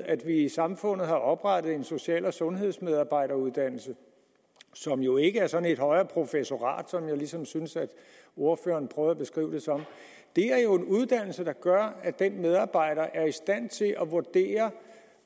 at vi i samfundet har oprettet en social og sundhedsmedarbejderuddannelse som jo ikke er sådan et højere professorat som jeg ligesom synes at ordføreren prøver at beskrive det som det er jo en uddannelse der gør at den pågældende medarbejder er i stand til at vurdere